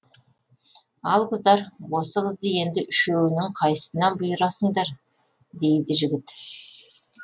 ал қыздар осы қызды енді үшеуінің қайсысына бұйырасыңдар дейді жігіт